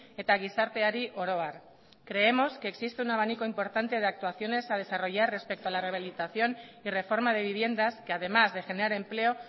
eta gizarteari oro har creemos que existe un abanico importante de actuaciones a desarrollar respecto a la rehabilitación y reforma de viviendas que además de generar empleo